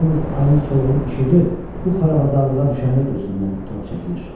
Yalnız ayın soluqun işığı bu xarabazarlığa düşəndə gözümdən tor çəkilir.